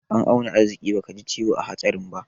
An auna arziƙi bakaji ciwo a hatsarin ba.